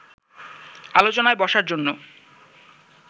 আলোচনায় বসার জন্য